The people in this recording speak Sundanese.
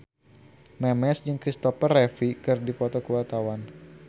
Memes jeung Kristopher Reeve keur dipoto ku wartawan